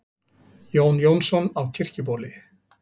Jón Jónsson á Kirkjubóli